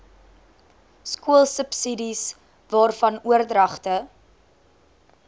skoolsubsidies waarvan oordragte